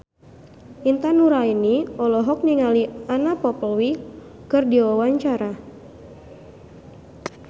Intan Nuraini olohok ningali Anna Popplewell keur diwawancara